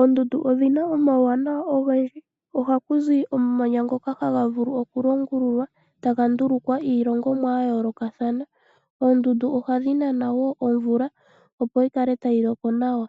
ondundu odhina omauwanawa ogendji, ohakuzi omamanya ngoka haga vulu oku longululwa taga ndulukwa iilongimwa ya yoolokathana oodundu ohadhi nana woo omvula opo yikale tayi loko nawa.